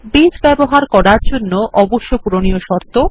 base ব্যবহারের জন্যে অবশ্য পূরণীয় শর্ত